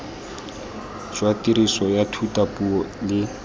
jwa tiriso ya thutapuo le